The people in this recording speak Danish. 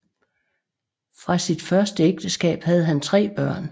Fra sit første ægteskab havde han tre børn